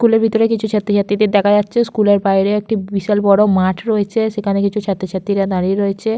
School এর ভিতরে কিছু ছাত্র ছাত্রীদের দেখা যাচ্ছে। স্কুলের বাইরে একটি বিশাল বড় মাঠ রয়েছে সেখানে কিছু ছাত্র ছাত্রীরা দাঁড়িয়ে রয়েছে।